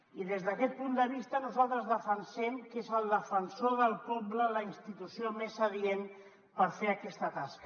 i des d’aquest punt de vista nosaltres defensem que és el defensor del poble la institució més adient per fer aquesta tasca